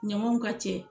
Ɲamaw ka cɛ